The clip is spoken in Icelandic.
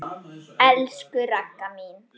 Elsku Ragga mín.